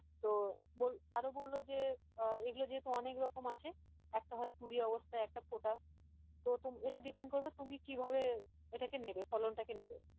তো আহ আরো বললো যে আহ এগুলো যেহেতু অনেক রকম আছে একটা হয় কুড়ি অবস্থাই একটা ফোটা তো এটা depend করবে তুমি কি ভাবে এটাকে নেবে ফলন টাকে নেবে